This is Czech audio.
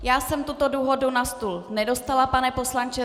Já jsem tuto dohodu na stůl nedostala, pane poslanče.